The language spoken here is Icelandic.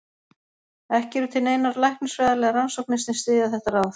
Ekki eru til neinar læknisfræðilegar rannsóknir sem styðja þetta ráð.